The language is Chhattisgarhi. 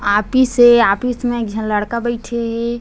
आपिस ए आपिस म एक झन लड़का बइठे हे।